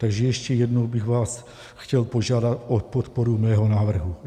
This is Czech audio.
Takže ještě jednou bych vás chtěl požádat o podporu mého návrhu.